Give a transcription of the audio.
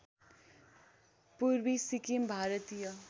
पूर्वी सिक्किम भारतीय